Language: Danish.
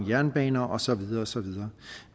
jernbaner og så videre og så videre